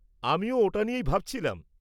-আমিও ওটা নিয়েই ভাবছিলাম।